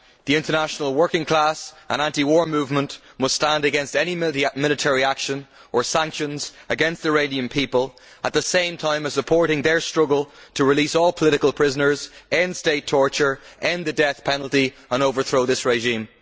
The international working class and anti war movement must stand against any military action or sanctions against the Iranian people, while at the same time supporting their struggle to release all political prisoners, end state torture, end the death penalty and overthrow this regime.